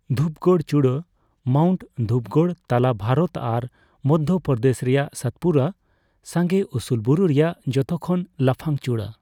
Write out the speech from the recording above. ᱫᱷᱩᱯᱜᱚᱲ ᱪᱩᱲᱟᱹ ᱺ ᱢᱟᱣᱩᱱᱴ ᱫᱷᱩᱯᱜᱚᱲ ᱛᱟᱞᱟ ᱵᱷᱟᱨᱚᱛ ᱟᱨ ᱢᱚᱫᱽᱫᱷᱚᱯᱨᱚᱫᱮᱥ ᱨᱮᱭᱟᱜ ᱥᱟᱛᱯᱩᱨᱟ ᱥᱟᱸᱜᱮ ᱩᱥᱩᱞ ᱵᱩᱨᱩ ᱨᱮᱭᱟᱜ ᱡᱚᱛᱚ ᱠᱷᱚᱱ ᱞᱟᱯᱷᱟᱝ ᱪᱩᱲᱟᱹ ᱾